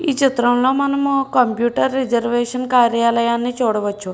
ఈచిత్రం లో మనము computer reservation కార్యాలయాన్ని చూడవచ్చు.